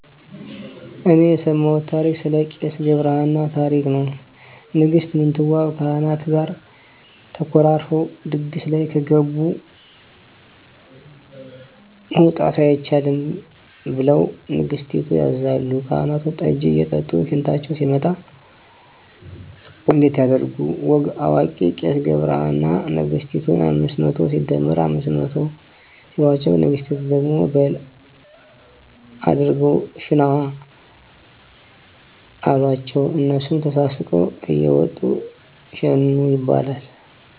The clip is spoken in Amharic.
እኔ የሰማውት ታሪክ ስለ ቄስ ገብርሃና ታሪክ ነው ንግስት ምንትዋብ ከካህናት ጋር ተኮራርፈው ድግስ ላይ ከገብ መውጣት አይቻልም ብለሁ ንገስቲቱ ያዛሉ ካህናቱን ጠጂ እየጠጡ ሽንታቸው ሲመጣ እንዴት ያድርጉ ወግ አዋቂው ቄስ ገብረሃና ነግስቲቱን አምስት መቶ ሲደመር አምስት መቶ ሲሎቸው ንግስቲቱ ደግሞ ቀበል አድርገው ሽነዋ አሎቸው እነሱም ተሳስቀው እየወጡ ሸኑ ይባላል